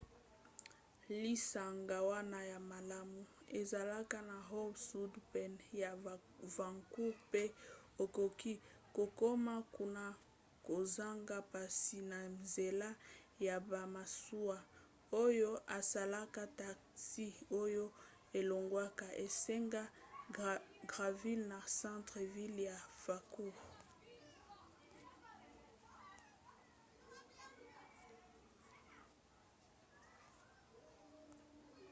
lisanga wana ya malamu ezalaka na howe sound pene ya vancouver pe okoki kokoma kuna kozanga mpasi na nzela ya bamasuwa oyo esalaka taxi oyo elongwaka esanga granville na centre-ville ya vancouver